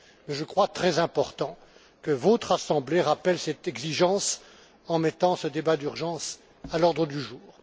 Je crois très important que votre Assemblée rappelle cette exigence en mettant ce débat d'urgence à l'ordre du jour.